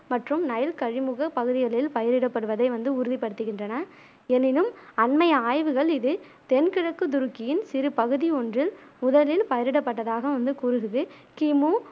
மற்றும் நைல் கழிமுக பகுதிகளில் பயிரிடப் படுவதை வந்து உறுதிப் படுத்துகின்றன எனினும் அண்மை ஆய்வுகள் இதில் தென்கிழக்கு துருக்கியின் சிறு பகுதி ஒன்றில் முதலில் பயிரிடப் பட்டதாக வந்து கூறுகுது கிமு